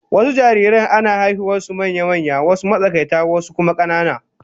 Wasu jariran ana haihuwar su manya-manya, wasu matsakaita wasu kuma 'yan kanana